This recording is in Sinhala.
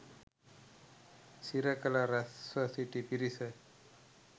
සිරකළ රැස්ව සිටි පිරිස